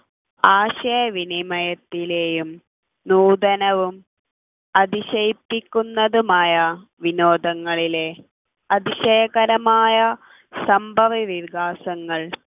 ആശയവിനിമയത്തിലെയും നൂതനവും അതിശയിപ്പിക്കുന്നതുമായ വിനോദങ്ങളിലെ അതിശയകരമായ സംഭവ വികാസങ്ങൾ